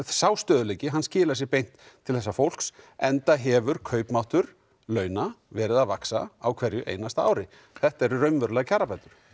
sá stöðugleiki skilar sér beint til þessa fólks enda hefur kaupmáttur launa verið að vaxa á hverju einasta ári þetta eru raunverulegar kjarabætur